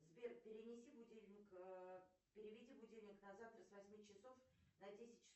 сбер перенеси будильник переведи будильник на завтра с восьми часов на десять часов